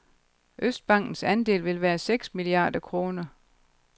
Østbankens andel vil være seks milliarder kroner.